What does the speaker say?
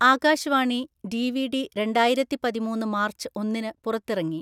Akash Vani DVD രണ്ടായിരത്തി പതിമൂന്ന്‌ March ഒന്നിന് പുറത്തിറങ്ങി.